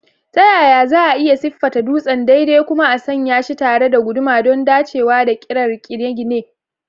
Ta yaya za a iya siffata dutsen daidai kuma a sanya shi tare da guduma don dacewa da ƙirar gine-gine?